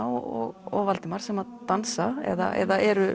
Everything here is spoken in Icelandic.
og Valdimar sem dansa eða eru